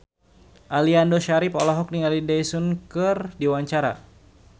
Aliando Syarif olohok ningali Daesung keur diwawancara